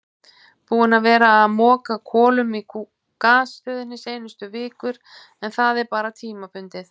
Búinn að vera að moka kolum í gasstöðinni seinustu vikur en það er bara tímabundið.